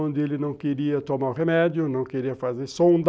Onde ele não queria tomar o remédio, não queria fazer sonda,